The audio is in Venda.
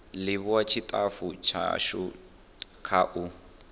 livhuwa tshitafu tshashu kha u